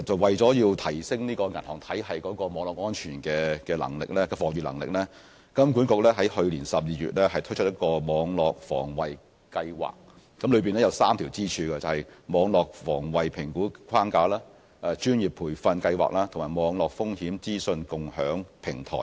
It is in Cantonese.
為了提升銀行體系網絡安全的防禦能力，金管局於去年12月推出一項網絡防衞計劃，當中有3條支柱：網絡防衞評估框架、專業培訓計劃及網絡風險資訊共享平台。